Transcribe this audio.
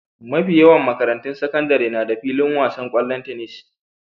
Mafi yawan makarantun sakandare na da filin wasan ƙwallon tenis.